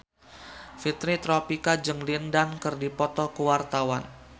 Fitri Tropika jeung Lin Dan keur dipoto ku wartawan